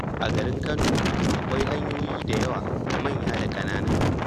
A garin Kano, akwai hanyoyi da yawa, manya da ƙanana.